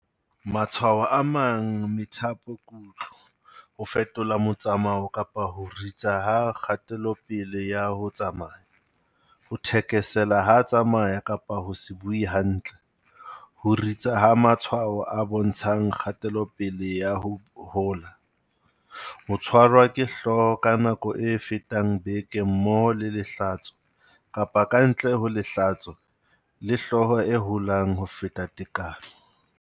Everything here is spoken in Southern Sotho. Matshwao a amang methapokutlo, ho fetola motsamao kapa ho ritsa ha kgatelopele ya ho tsamaya, ho thekesela ha a tsamaya kapa ho se bue hantle, ho ritsa ha matshwao a bontshang kgatelopele ya ho hola, ho tshwarwa ke hlooho ka nako e fetang beke mmoho le lehlatso kapa ka ntle ho lehlatso, le hlooho e holang ho feta tekano.